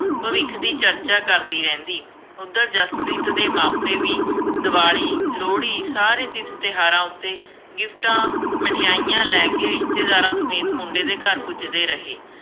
ਭਵਿੱਖ ਦੀ ਚਰਚਾ ਕਰਦੀ ਰਹਿੰਦੀ। ਉੱਧਰ ਜਸਪ੍ਰੀਤ ਦੇ ਮਾਪੇ ਵੀ ਦੀਵਾਲੀ, ਲੋਹੜੀ ਸਾਰੇ ਤੀਰਥ ਤਿਉਹਾਰਾਂ ਉੱਤੇ ਗਿਫਟਾਂ, ਮਠਿਆਈਆ ਲੈ ਕੇ ਰਿਸ਼ਤੇਦਾਰਾਂ ਸਮੇਤ ਮੁੰਡੇ ਦੇ ਘਰ ਪੁੱਜਦੇ ਰਹੇ।